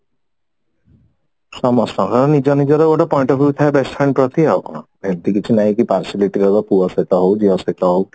ସମସ୍ତଙ୍କର ନିଜ ନିଜର ଗୋଟେ point of view ଥାଏ best friend ପ୍ରତି ଆଉ କଣ ଏମତି କିଛି ନାଇଁ କି partiality ଦବ ପୁଅ ସହିତ ହଉ ଝିଅ ସହିତ ହଉ